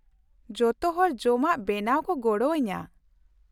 ᱡᱚᱛᱚᱦᱚᱲ ᱡᱚᱢᱟᱜ ᱵᱮᱱᱟᱣ ᱠᱚ ᱜᱚᱲᱚ ᱟᱹᱧᱟᱹ ᱾